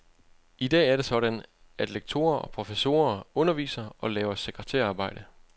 I dag er det sådan, at lektorer og professorer underviser og laver sekretærarbejde.